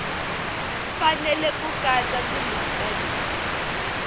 fanele ku katsa timhaka leti